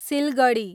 Siliguri